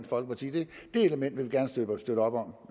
folkeparti det element vil vi gerne støtte op om